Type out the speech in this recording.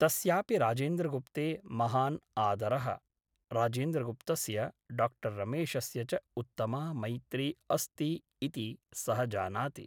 तस्यापि राजेन्द्रगुप्ते महान् आदरः । राजेन्द्रगुप्तस्य डाक्टर् रमेशस्य च उत्तमा मैत्री अस्ति इति सः जानाति ।